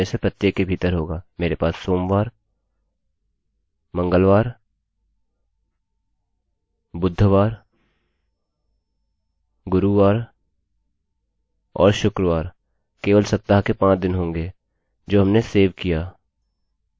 मेरे पास monday सोमवार tuesday मंगलवार wednesday बुधवार thursdayगुरूवार और friday शुक्रवार केवल सप्ताह के 5 दिन होंगे जो हमें सेव करता है